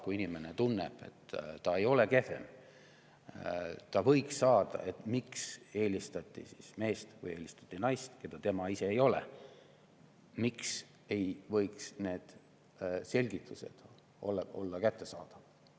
Kui inimene tunneb, et ta ei ole kehvem ja ta võiks saada, siis miks ei võiks need selgitused, miks eelistati meest või eelistati naist, olla kättesaadavad?